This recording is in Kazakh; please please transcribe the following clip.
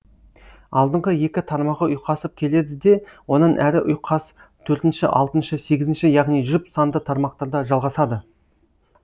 алдыңғы екі тармағы ұйқасып келеді де онан әрі ұйқас төртінші алтыншы сегізінші яғни жұп санды тармақтарда жалғасады